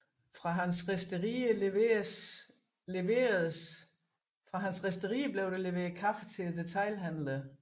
Fra hans risterier leveredes kaffen til detailhandlerne